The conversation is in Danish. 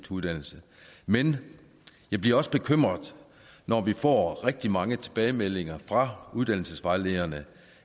uddannelse men jeg bliver også bekymret når vi får rigtig mange tilbagemeldinger fra uddannelsesvejlederne